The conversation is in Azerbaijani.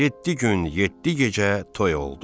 Yeddi gün, yeddi gecə toy oldu.